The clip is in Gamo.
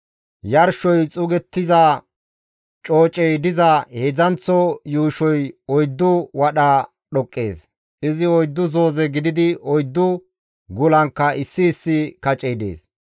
yarshoy xuugettiza coocey diza heedzdzanththo yuushoy oyddu wadha dhoqqees. Izi oyddu zooze gididi, oyddu gulankka issi issi kacey dees.